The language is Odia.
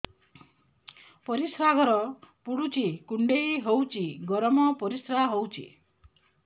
ପରିସ୍ରା ଘର ପୁଡୁଚି କୁଣ୍ଡେଇ ହଉଚି ଗରମ ପରିସ୍ରା ହଉଚି